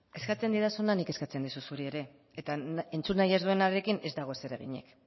eskatzen didazuna nik eskatzen dizut zuri ere eta entzun nahi ez duenarekin ez dago zereginik